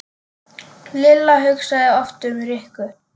Lilla hugsaði oft um Rikku.